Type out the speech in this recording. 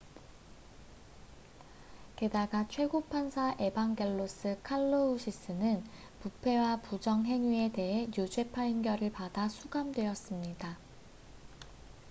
게다가 최고 판사 에반겔로스 칼로우시스는 부패와 부정행위에 대해 유죄 판결을 받아 수감되었습니다